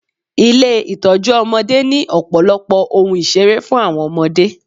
Ilé Ìtọ́jú ọmọdé ni ọ̀pọ̀lọpọ̀ ohun ìṣeré fún àwọn ọmọdé.